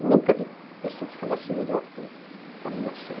Eu nunca vi pessoa que falasse melhor que o Carlos Lacerda.